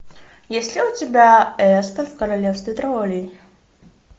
есть ли у тебя эспен в королевстве троллей